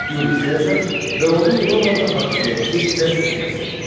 Yuli Sezar və onun Romada hakimiyyəti zəbt etməsi.